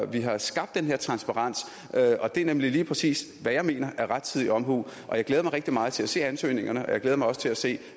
vi har skabt den her transparens og det er lige præcis hvad jeg mener er rettidig omhu jeg glæder mig rigtig meget til at se ansøgningerne og jeg glæder mig også til at se